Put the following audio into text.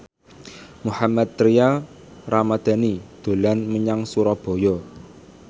Mohammad Tria Ramadhani dolan menyang Surabaya